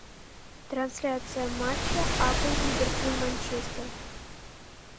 трансляция матча апл ливерпуль манчестер